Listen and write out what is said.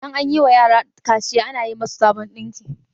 idan an yiwa yara kaciya ana yi musu sabon dinki